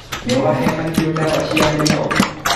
Nĩwahe mahiũ ndawa cia mĩnyoo.